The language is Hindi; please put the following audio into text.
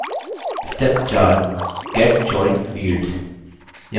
step 4 get joined fields